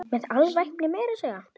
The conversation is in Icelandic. Með alvæpni meira að segja!